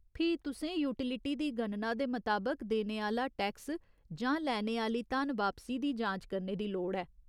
फ्ही तुसें यूटिलिटी दी गणना दे मताबक देने आह्‌ला टैक्स जां लैने आह्‌ली धनवापसी दी जांच करने दी लोड़ ऐ।